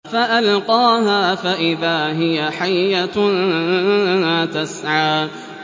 فَأَلْقَاهَا فَإِذَا هِيَ حَيَّةٌ تَسْعَىٰ